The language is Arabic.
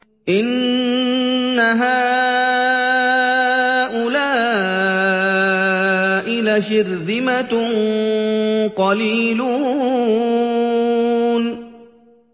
إِنَّ هَٰؤُلَاءِ لَشِرْذِمَةٌ قَلِيلُونَ